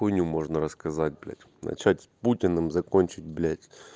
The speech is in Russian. хуйню можно рассказать блять начать путиным закончить блять